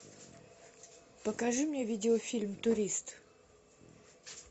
покажи мне видеофильм турист